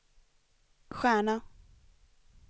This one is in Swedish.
stjärna